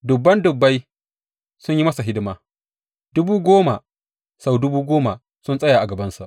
Dubun dubbai sun yi masa hidima; dubu goma sau dubu goma sun tsaya a gabansa.